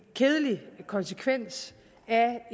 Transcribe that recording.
kedelig konsekvens af